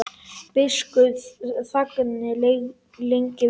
Biskup þagði lengi vel.